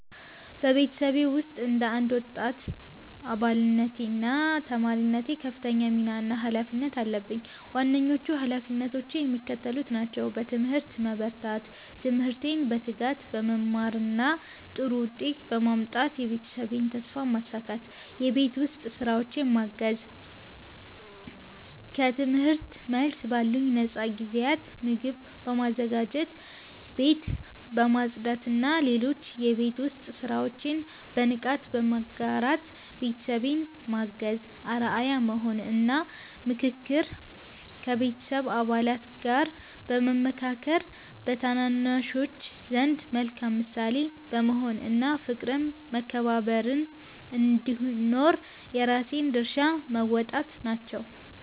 በቤተሰቤ ውስጥ እንደ አንድ ወጣት አባልነቴና ተማሪነቴ ከፍተኛ ሚና እና ኃላፊነት አለብኝ። ዋነኞቹ ኃላፊነቶቼ የሚከተሉት ናቸው፦ በትምህርት መበርታት፦ ትምህርቴን በትጋት በመማርና ጥሩ ውጤት በማምጣት የቤተሰቤን ተስፋ ማሳካት። የቤት ውስጥ ሥራዎችን ማገዝ፦ ከትምህርት መልስ ባሉኝ ነፃ ጊዜያት ምግብ በማዘጋጀት፣ ቤት በማጽዳትና ሌሎች የቤት ውስጥ ሥራዎችን በንቃት በመጋራት ቤተሰቤን ማገዝ። አርአያ መሆን እና ምክክር፦ ከቤተሰብ አባላት ጋር በመመካከር፣ በታናናሾች ዘንድ መልካም ምሳሌ በመሆን እና ፍቅርና መከባበር እንዲኖር የራሴን ድርሻ መወጣት ናቸው።